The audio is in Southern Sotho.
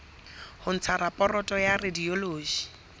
ho ntsha raporoto ya radiology